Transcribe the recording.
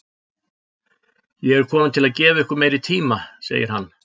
Ég er kominn til að gefa ykkur meiri tíma, segir hann.